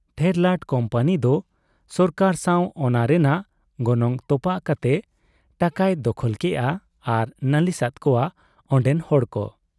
ᱴᱷᱮᱨᱞᱟᱴ company ᱫᱚ ᱥᱚᱨᱠᱟᱨ ᱥᱟᱱ ᱚᱱᱟ ᱨᱮᱱᱟᱜ ᱜᱚᱱᱚᱝ ᱛᱚᱯᱟᱜ ᱠᱟᱛᱮ ᱴᱟᱠᱟᱭ ᱫᱚᱠᱷᱚᱞ ᱠᱮᱜ ᱟ ᱟᱨ ᱱᱟᱹᱞᱤᱥ ᱟᱫ ᱠᱚᱣᱟ ᱚᱱᱰᱮᱱ ᱦᱚᱲ ᱠᱚ ᱾